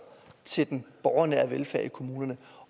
til den borgernære velfærd i kommunerne